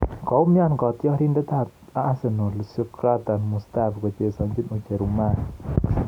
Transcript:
Koumian katyarindet ab Arsenal Shkodran Mustafi kochesane ucherumani